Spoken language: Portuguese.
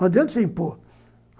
Não adianta você impor.